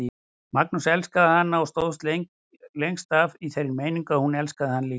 Magnús elskaði hana og stóð lengst af í þeirri meiningu að hún elskaði hann líka.